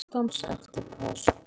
Málið fer til landsdóms eftir páska